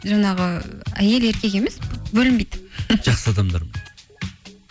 жаңағы әйел еркек емес бөлінбейді жақсы адамдармен